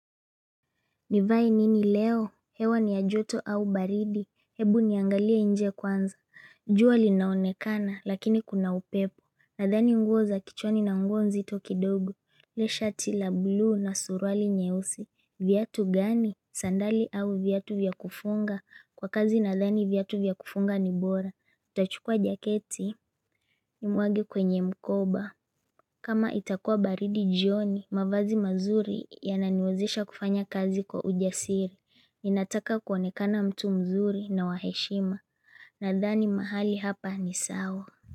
Nivae nini leo, hewa ni ya joto au baridi, ebu niangalie inje kwanza, jua linaonekana lakini kuna upepo, nadhani nguo za kichwani na nguo nzito kidogo, leshatila blue na suruali nyeusi, viatu gani, sandali au viatu vyakufunga, kwa kazi nadhani viatu vyakufunga ni bora, utachukua jaketi, nimwage kwenye mkoba. Kama itakua baridi jioni, mavazi mazuri ya naniwezisha kufanya kazi kwa ujasiri. Ninataka kuonekana mtu mzuri na waheshima. Nadhani mahali hapa ni sawa.